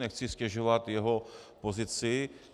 Nechci ztěžovat jeho pozici.